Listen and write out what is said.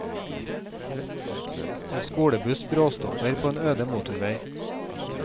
En skolebuss bråstopper på en øde motorvei.